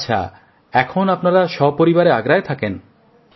আচ্ছা এখন আপনারা সপরিবারে আগ্রায় থাকেন